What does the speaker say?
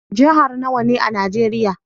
Jihar nawa ne a najeria?